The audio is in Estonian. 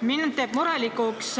Mind teeb murelikuks